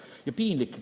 Ja piinlik on.